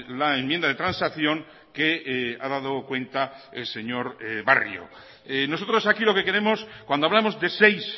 la enmienda de transacción que ha dado cuenta el señor barrio nosotros aquí lo que queremos cuando hablamos de seis